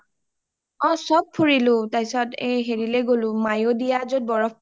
অ চব ফুৰিলো , তাৰপিছত হেৰিলৈ গ’লো মায়োদিয়া য’ত বৰফ পৰে যে